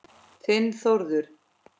Þinn Þórður.